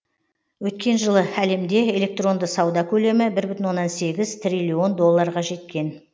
өткен жылы әлемде электронды сауда көлемі бір бүтін оннан сегіз триллион доллларға жеткен